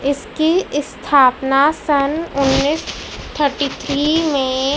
इसकी ईस्थापना सन उन्नीस थर्टी थ्री में--